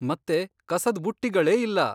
ಮತ್ತೆ ಕಸದ್ ಬುಟ್ಟಿಗಳೇ ಇಲ್ಲ.